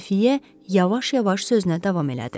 Xəfiyyə yavaş-yavaş sözünə davam elədi.